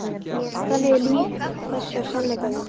Þannig er líf þess hjá sannleikanum.